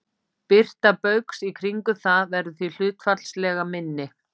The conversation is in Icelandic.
Birta baugs í kringum það verður því hlutfallslega minni.